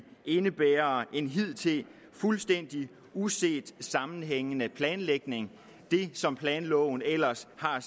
indebærer en hidtil fuldstændig uset sammenhængende planlægning det som planloven ellers har